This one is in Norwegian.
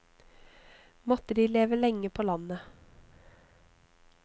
Måtte de leve lenge på landet.